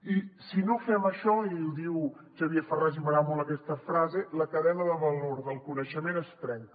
i si no fem això i ho diu xavier ferràs i m’agrada molt aquesta frase la cadena de valor del coneixement es trenca